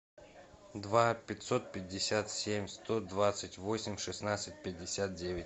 два пятьсот пятьдесят семь сто двадцать восемь шестнадцать пятьдесят девять